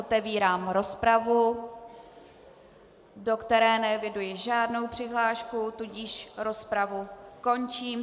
Otevírám rozpravu, do které neeviduji žádnou přihlášku, tudíž rozpravu končím.